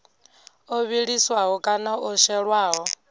o vhiliswaho kana o shelwaho